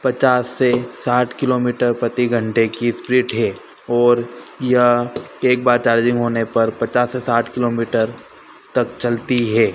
पचास से साठ किलोमीटर प्रति घंटे की स्प्लिट है और यह एक बार चार्जिंग होने पर पचास से साठ किलोमीटर तक चलती है।